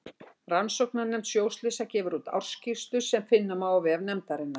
Rannsóknarnefnd sjóslysa gefur úr ársskýrslur sem finna má á vef nefndarinnar.